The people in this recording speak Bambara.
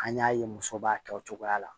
An y'a ye muso b'a kɛ o cogoya la